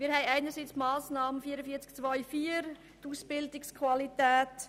Wir haben einerseits die Massnahme 44.2.4.